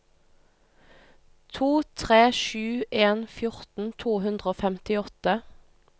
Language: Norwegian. to tre sju en fjorten to hundre og femtiåtte